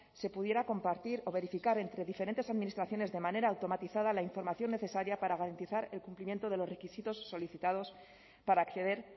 se pudiera compartir o verificar entre diferentes administraciones de manera automatizada la información necesaria para garantizar el cumplimiento de los requisitos solicitados para acceder